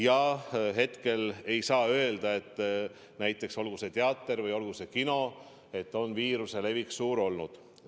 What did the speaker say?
Ja hetkel ei saa öelda, et näiteks teatris või kinos on viiruse levik suur olnud.